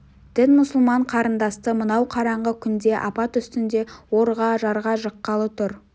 дін мұсылман қарындасты мынау қараңғы күнде апат үстінде орға жарға жыққалы тұр